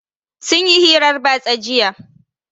Sun yi hirar batsa jiya.